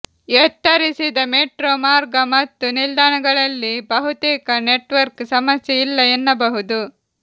ಎತ್ತರಿಸಿದ metro ಮಾರ್ಗ ಮತ್ತು ನಿಲ್ದಾಣಗಳಲ್ಲಿ ಬಹುತೇಕ ನೆಟ್ವರ್ಕ್ ಸಮಸ್ಯೆ ಇಲ್ಲ ಎನ್ನಬಹುದು